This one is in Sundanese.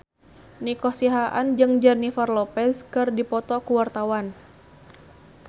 Nico Siahaan jeung Jennifer Lopez keur dipoto ku wartawan